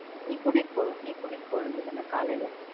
நீ கூட்டிட்டு போ~ நீ கூட்டிட்டு போவேண்டியது தான காலையில,